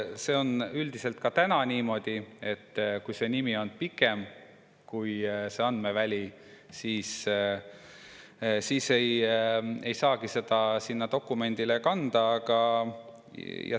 See on üldiselt ka täna niimoodi, et kui nimi on pikem kui see andmeväli, siis ei saagi seda sinna dokumendile kanda.